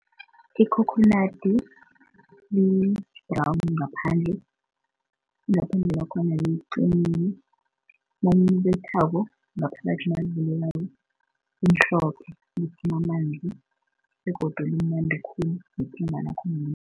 Ikhokhonadi li-brown ngaphandle ingaphandle lakhona liqinile nawulibethako ngaphakathi nalivulekako limhlophe liphuma amanzi begodu limnandi khulu nephunga lakhona